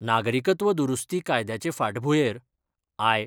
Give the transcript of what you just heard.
नागरिकत्व दुरुस्ती कायद्याचे फाटभुयेर आय.